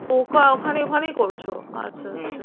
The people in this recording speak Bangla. ok এখন ওখানেই করছো। আচ্ছা আচ্ছা